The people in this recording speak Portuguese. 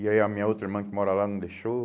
E aí a minha outra irmã que mora lá não deixou.